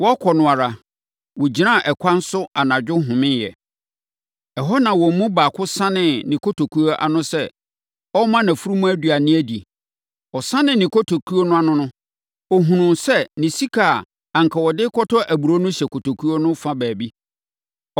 Wɔrekɔ no ara, wɔgyinaa ɛkwan so anadwo homeeɛ. Ɛhɔ na wɔn mu baako sanee ne kotokuo ano sɛ ɔrema nʼafunumu aduane adi. Ɔsanee ne kotokuo no ano no, ɔhunuu sɛ ne sika a anka ɔde rekɔtɔ aburoo no hyɛ kotokuo no fa baabi.